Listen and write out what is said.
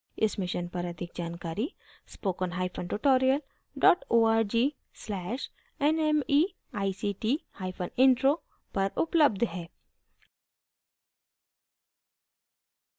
इस mission पर अधिक जानकारी spoken hyphen tutorial dot org slash nmeict hyphen intro पर उपलब्ध है